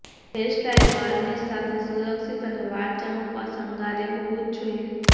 hairstyle varnish સાથે સુરક્ષિત અને વાળ ચમકવા શણગારે હોવું જ જોઈએ